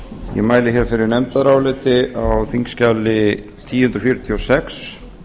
ég mæli fyrir nefndaráliti á þingskjali þúsund fjörutíu og sex